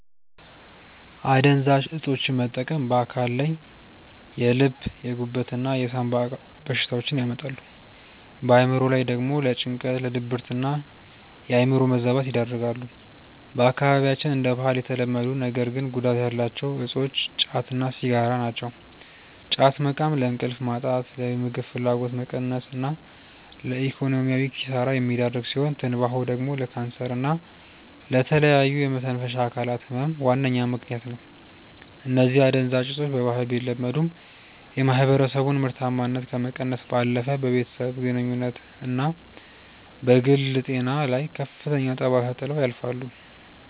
አደንዛዥ እፆችን መጠቀም በአካል ላይ የልብ፣ የጉበት እና የሳምባ በሽታዎችን ያመጣሉ፣ በአእምሮ ላይ ደግሞ ለጭንቀት፣ ለድብርትና የአእምሮ መዛባት ይዳርጋሉ። በአካባቢያችን እንደ ባህል የተለመዱ ነገር ግን ጉዳት ያላቸው እፆች ጫት እና ሲጋራ ናቸው። ጫት መቃም ለእንቅልፍ ማጣት፣ ለምግብ ፍላጎት መቀነስ እና ለኢኮኖሚያዊ ኪሳራ የሚዳርግ ሲሆን፤ ትንባሆ ደግሞ ለካንሰር እና ለተለያዩ የመተንፈሻ አካላት ህመም ዋነኛ ምከንያት ነው። እነዚህ አደንዛዥ እፆች በባህል ቢለመዱም፣ የማህበረሰቡን ምርታማነት ከመቀነስ ባለፈ በቤተሰብ ግንኙነትና በግል ጤና ላይ ከፍተኛ ጠባሳ ጥለው ያልፋሉ።